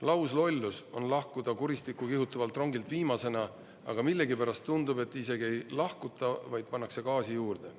Lauslollus on lahkuda kuristikku kihutavalt rongilt viimasena, aga millegipärast tundub, et isegi ei lahkuta, vaid pannakse gaasi juurde.